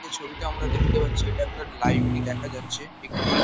এই ছবিটা আমরা দেখতে পাচ্ছি এটা একটা লাইব্রেরী দেখা যাচ্ছে এখানে--